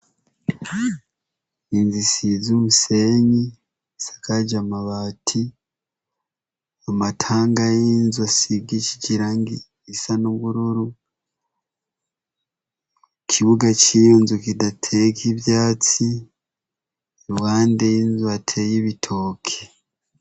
Inzu isize umusenyi, isakaje amabati, amatanga y'inzu asigishije irangi risa n'ubururu, ikibuga ciyo nzu kitateyeko ivyatsi, iruhande bateye ibitoki.